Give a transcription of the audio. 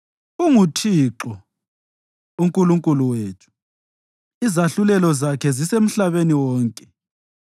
UnguThixo uNkulunkulu wethu; izahlulelo zakhe zisemhlabeni wonke.